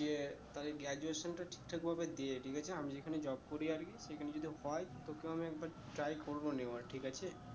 যে তা graduation টা ঠিক ঠাক ভাবে দে ঠিক আছে আমি যেখানে job করি আর কি সেখানে যদি হয়ে তোকেও আমি একবার try করবো নেওয়ার ঠিক আছে